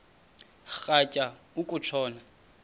rhatya uku tshona